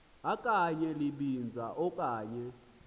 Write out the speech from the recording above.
okanye libinza okanye